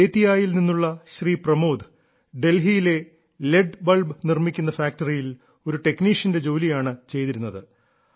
ബേതിയായിൽ നിന്നുള്ള ശ്രീ പ്രമോദ് ഡൽഹിയിലെ L E D bulb നിർമ്മിക്കുന്ന ഫാക്ടറിയിൽ ഒരു ടെക്നീഷ്യന്റെ ജോലിയാണ് ചെയ്തിരുന്നത്